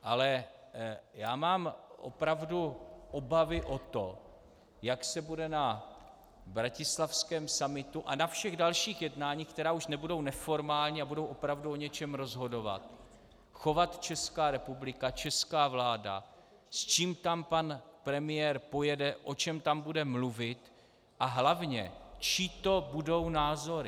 Ale já mám opravdu obavy o to, jak se bude na bratislavském summitu a na všech dalších jednáních, která už nebudou neformální a budou opravdu o něčem rozhodovat, chovat Česká republika, česká vláda, s čím tam pan premiér pojede, o čem tam bude mluvit, a hlavně, čí to budou názory.